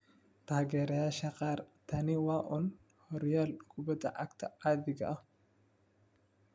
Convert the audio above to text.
Taageerayaasha qaar, tani waa uun horyaal kubbadda cagta caadiga ah.